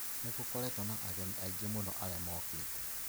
Nĩ gũkoretwo na ageni aingĩ mũno aria mokite.